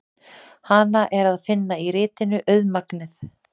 Hana er að finna í ritinu Auðmagnið.